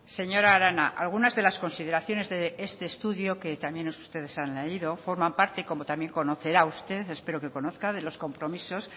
señora arana algunas de las consideraciones de este estudio que también ustedes han leído forman parte como también conocerá usted espero que conozca de los compromisos